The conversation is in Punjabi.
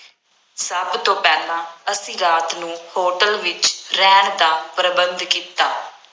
ਸਭ ਤੋਂ ਪਹਿਲਾਂ ਅਸੀਂ ਰਾਤ ਨੂੰ ਹੋਟਲ ਵਿੱਚ ਰਹਿਣ ਦਾ ਪ੍ਰਬੰਧ ਕੀਤਾ।